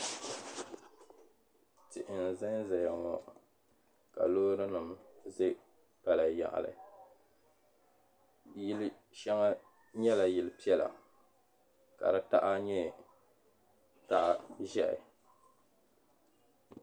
Tihi n-zan zaya ŋɔ ka loorinima za pala yaɣili yili shɛŋa nyɛla yili piɛla ka taha nyɛ taha ʒehu.